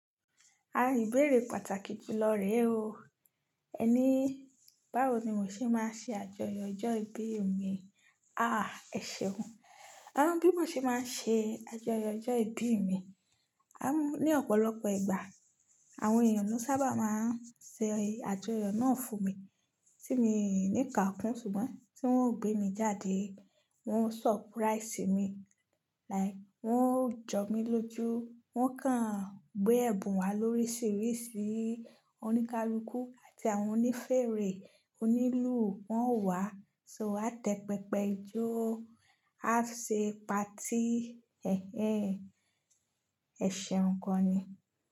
Ìbéèrè pàtàkì jù lọ rẹ̀ oo, ẹni báwo ni mo ṣe máa ṣe àjọyọ̀ ọjọ́ ìbí mi? Ah ẹ̀ṣeun, ara bi mo ṣe máa ṣe àjọyọ̀ ọjọ́ ìbí mi? Ni ọ̀pọ̀lọpọ̀ ìgbà àwọn èèyàn ló sábà máa ń ṣe àjọyọ̀ náà fún mi, tí mi ní ká kún ṣùgbọ́n tí wọ́n ò gbé mi jáde wọ́n ó surprise mi, like wọ́n ó jọ mí lójú wọ́n kàn gbé ẹ̀bùn wá lóríṣìíríṣìí, oníkálukú àti àwọn onífèrè onílù wọ́n ó wá, ṣo wá tẹpẹpẹ ijó a ṣe pati. Ẹ̀hẹ́n ẹ̀ṣeun gan ni.